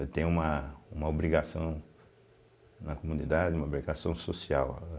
Eu tenho uma uma obrigação na comunidade, uma obrigação social.